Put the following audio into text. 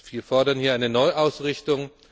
Wir fordern hier eine Neuausrichtung.